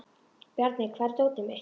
Bjarmi, hvar er dótið mitt?